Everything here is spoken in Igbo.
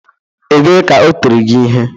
Ebee ka o tịrị gị ihe?